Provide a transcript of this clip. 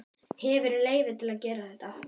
Hefurðu leyfi til að gera þetta?